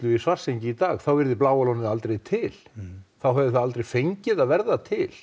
í Svartsengi í dag væri Bláa lónið aldrei til þá hefði það aldrei fengið að verða til